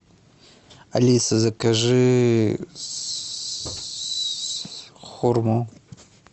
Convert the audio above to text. алиса закажи хурму